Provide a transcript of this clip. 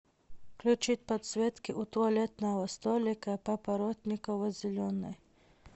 включить подсветки у туалетного столика папоротниково зеленый